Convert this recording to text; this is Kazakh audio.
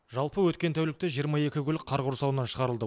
жалпы өткен тәулікте жиырма екі көлік қар құрсауынан шығарылды